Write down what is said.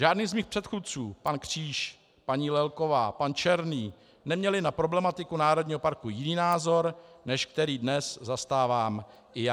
Žádný z mých předchůdců - pan Kříž, paní Lelková, pan Černý - neměl na problematiku národního parku jiný názor, než který dnes zastávám i já.